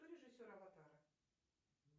кто режиссер аватара